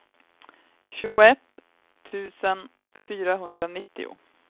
tjugoett tusen fyrahundranittio